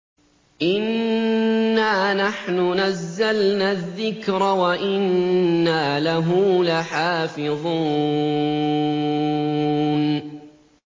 إِنَّا نَحْنُ نَزَّلْنَا الذِّكْرَ وَإِنَّا لَهُ لَحَافِظُونَ